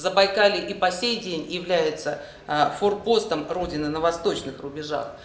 забайкалье и по сей день является форпостом родины на восточных рубежах